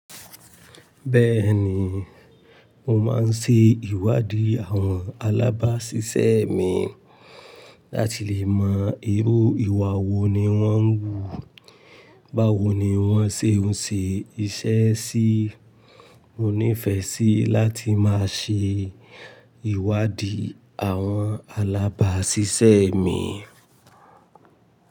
Bẹ́ẹ̀ni, mo máa ń ṣe ìwádìí àwọn alábáṣiṣẹ́ mi láti lè mọ irú ìwà wo ni wọ́n ń wù, báwo ni wọ́n ṣe ń ṣe iṣẹ́ sí. Mo nífẹ̀ẹ́ síi láti máa ṣe ìwádìí àwọn alábáṣiṣẹ́ mi.